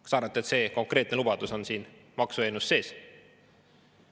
Kas arvate, et see lubadus on siin maksueelnõus sees?